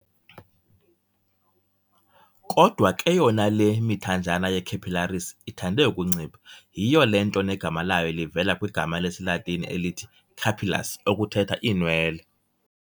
Kodwa ke yona le mithanjana ye-capillaries ithande ukuncipha, yhiyo le nto negama layo livela kwigama lesiLatini elithi "capillus" okuthetha "iinwele."